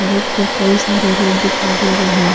सड़क पे कई सारे लोग दिखाई दे रहे है।